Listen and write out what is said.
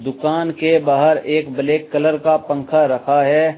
दुकान के बाहर एक ब्लैक कलर का पंखा रखा है।